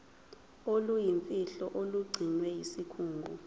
oluyimfihlo olugcinwe yisikhungo